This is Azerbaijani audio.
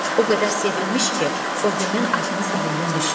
O qədər sevinmiş ki, o gündən adınız dilindən düşmür.